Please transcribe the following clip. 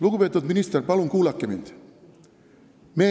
Lugupeetud minister, palun kuulake mind!